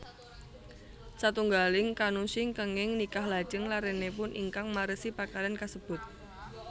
Satunggaling kannushi kenging nikah lajeng larenipun ingkang marisi pakaryan kasebut